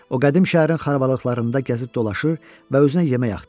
O qədim şəhərin xarabalqlarında gəzib dolaşır və özünə yemək axtarırdı.